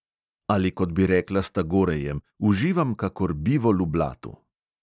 Ali kot bi rekla s tagorejem: uživam kakor bivol v blatu!